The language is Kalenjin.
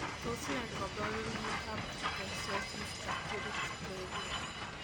Tos nee koborunoikab Ichthyosis hystrix gravior?